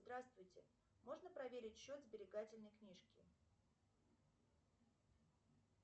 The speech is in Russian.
здравствуйте можно проверить счет сберегательной книжки